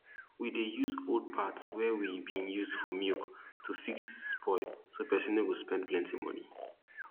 we dey use old parts wey we bin use for milk to fix spoil so person no go spend plenti money